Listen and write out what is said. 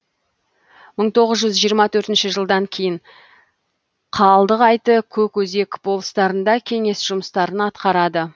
мың тоғыз жүз жиырма төртінші жылдан кейін қалдығайты көкөзек болыстарында кеңес жұмыстарын атқарады